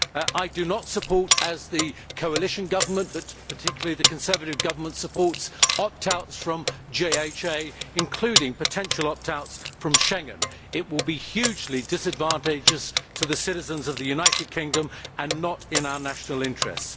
I do not support, as the coalition government does and particularly the Conservative party, opt outs from JHA, including potential opt outs from Schengen. It will be hugely disadvantageous to the citizens of the United Kingdom and not in our national interest.